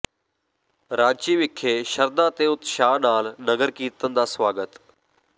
ਰਾਂਚੀ ਵਿਖੇ ਸ਼ਰਧਾ ਤੇ ਉਤਸ਼ਾਹ ਨਾਲ ਨਗਰ ਕੀਰਤਨ ਦਾ ਸਵਾਗਤ